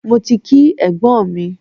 Mo ti kí ẹ̀gbọ́n mi.